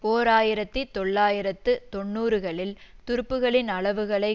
ஓர் ஆயிரத்தி தொள்ளாயிரத்து தொன்னூறுகளில் துருப்புக்களின் அளவுகளை